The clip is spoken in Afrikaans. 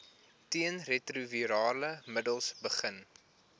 teenretrovirale middels begin